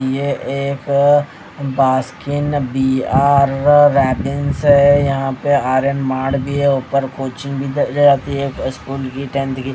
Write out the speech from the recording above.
ये एक Baskin B R Robbins है यहां पे आरयन मार्ट भी हैं ऊपर कोचिंग भी जाती है फर्स्ट फ्लोर पे टेंथ की--